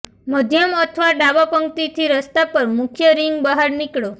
મધ્યમ અથવા ડાબા પંક્તિ થી રસ્તા પર મુખ્ય રિંગ બહાર નીકળો